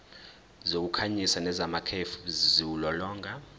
zokukhanyisa nezamakhefu ziwulolonga